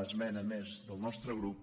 esmena més del nostre grup